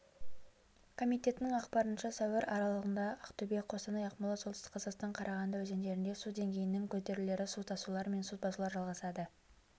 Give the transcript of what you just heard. комитетінің ақпарынша сәуір аралығында ақтөбе қостанай ақмола солтүстік қазақстан қарағанды өзендерінде су деңгейінің көтерілулері су тасулар мен су басулар жалғасады